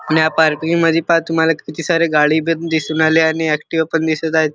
आणि या पार्किंग मधी पहा तुम्हाला किती सारी गाडी पण दिसुन राहिली आणि ऍक्टिवा पण दिसत आहेत.